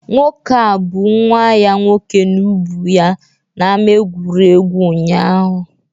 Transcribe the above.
Nwoke a bu nwa ya nwoke n'ubu ya n'ama egwuregwu ụnyahụ